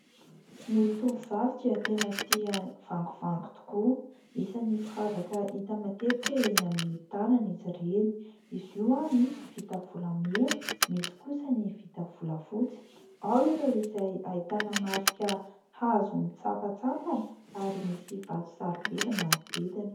Ny tovovavy dia tena tia vangovango tokoa. Isany firavaka hita matetika eny amin'ny tanana izy ireny. Izy io misy vita volamena, misy kosa ny vita volafotsy. Ao ireo izay ahitana marika hazo misampantsampana ary misy vato sarobidy manodidina.